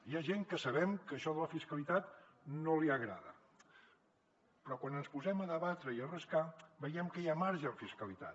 hi ha gent que sabem que això de la fiscalitat no li agrada però quan ens posem a debatre i a rascar veiem que hi ha marge en fiscalitat